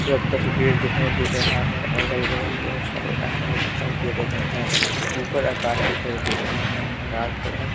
एक तस्वीर दिखाई दे रहा है अगल-बगल बहुत सारे आदमी दिखाई दे रहे हैं ऊपर आकाश दिखाई दे रहा है आकाश का रंग--